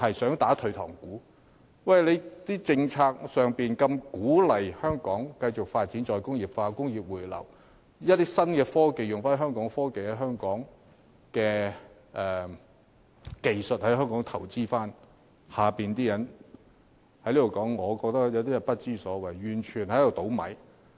政府的政策是鼓勵香港再工業化、工業回流，以及在新科技發展方面採用本地技術和留港投資，但我想說的是其下有些人根本不知所謂，大搞破壞。